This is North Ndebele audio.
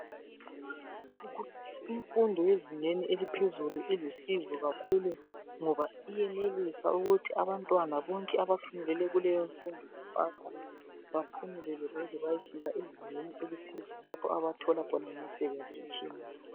Imfundo yezingeni eliphezulu ilusizo kakhulu ngoba iyenelisa ukuthi abantwana bonke abafundele kuleyo mfundo bapasa baphumelele baze bayefika ezingeni eliphezulu lapha abathola khona imisebenzi etshiyeneyo.